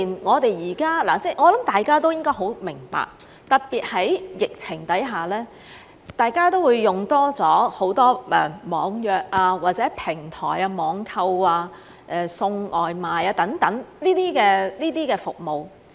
我想大家都應該很明白，特別在疫情下，大家都會多用了網約或平台網購、送外賣等服務。